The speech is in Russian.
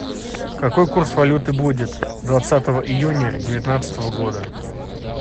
какой курс валюты будет двадцатого июня девятнадцатого года